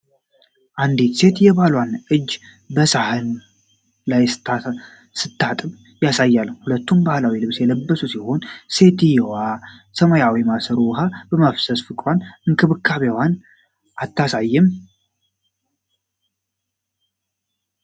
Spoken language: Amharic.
አንዲት ሴት የባሏን እጅ በሳህን ላይ ስታጥብ ያሳያል፤ ሁለቱም ባህላዊ ልብስ የለበሱ ሲሆኑ፣ ሴትየዋ ከሰማያዊ ማሰሮ ውኃ በማፍሰስ ፍቅሯንና እንክብካቤዋን አታሳይም?